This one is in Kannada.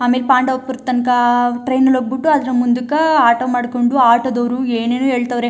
ಆಮೇಲೆ ಪಾಂಡವಪುರ ತನಕ ಟ್ರೈನ್ ಲ್ಲಿ ಹೋಗ್ಬಿಟ್ಟು ಅದ್ರ ಮುಂದುಕಾ ಆಟೋ ಮಾಡ್ಕೊಂಡು ಆಟೋ ದವರು ಏನೇನೋ ಹೇಳ್ತಾವ್ರೆ.